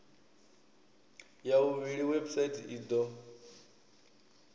ya vhuvhili website i do